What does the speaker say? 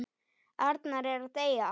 Arnar er að deyja.